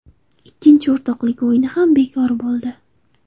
Ikkinchi o‘rtoqlik o‘yini ham bekor bo‘ldi.